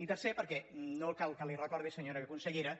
i tercer perquè no cal que li recordi senyora consellera